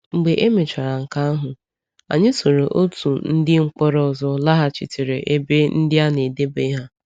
Mgbe emechaara nke ahụ, anyị soro otu ndị mkpọrọ ọzọ laghachitere ebe ndị a na-edebe ha.